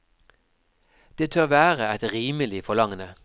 Det tør være et rimelig forlangende.